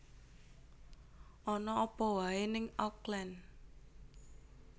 Ana apa wae ning Auckland